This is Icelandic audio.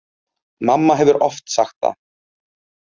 Mamma hefur oft sagt það.